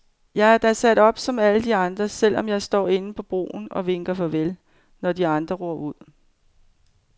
Jeg er da sat op som alle de andre, selv om jeg står inde på broen og vinker farvel, når de andre ror ud.